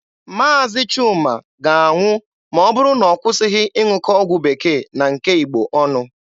Maazi Chuma ga-anwụ ma ọ bụrụ na ọ kwụsịghị ịṅụkọ ọgwụ bekee na nke Igbo ọnụ.